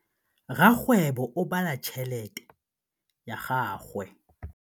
Rakgwêbô o bala tšheletê ya gagwe.